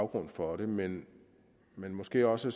grund for det men men måske også